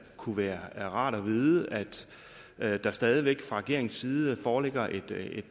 kunne være rart at vide at at der stadig væk fra regeringens side foreligger et